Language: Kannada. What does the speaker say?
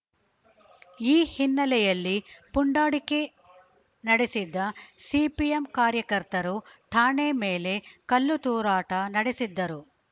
ಈ ಹಿನ್ನೆಲೆಯಲ್ಲಿ ಪುಂಡಾಟಿಕೆ ನಡೆಸಿದ್ದ ಸಿಪಿಎಂ ಕಾರ್ಯಕರ್ತರು ಠಾಣೆ ಮೇಲೆ ಕಲ್ಲುತೂರಾಟ ನಡೆಸಿದ್ದರು